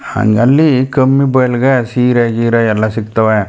ಹಂಗಲಿ ಕಮ್ಮಿ ಬಯ್ಲಗ್ ಸೀರೆ ಗಿರೆ ಎಲ್ಲಾ ಸಿಕ್ತವೆ .